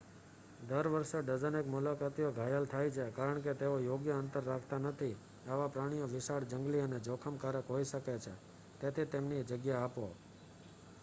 દર વર્ષે ડઝનેક મુલાકાતીઓ ઘાયલ થાય છે કારણકે તેઓ યોગ્ય અંતર રાખતા નથી આવા પ્રાણીઓ વિશાળ જંગલી અને જોખમકારક હોઈ શકે તેથી તેમને તેમની જગ્યા આપો